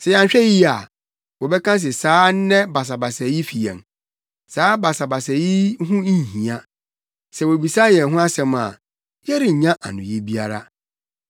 Sɛ yɛanhwɛ yiye a, wɔbɛka se saa nnɛ basabasayɛ yi fi yɛn. Saa basabasayɛ yi ho nhia. Sɛ wobisa yɛn ho asɛm a, yɛrennya anoyi biara.”